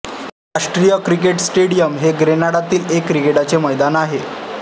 राष्ट्रीय cricket stadium हे ग्रेनाडातील एक क्रिकेटचे मैदान आहे